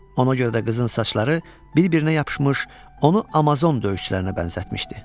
Ona görə də qızın saçları bir-birinə yapışmış, onu Amazon döyüşçülərinə bənzətmişdi.